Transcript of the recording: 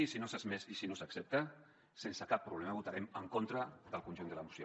i si no s’accepta sense cap problema votarem en contra del conjunt de la moció